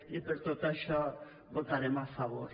i per tot això hi votarem a favor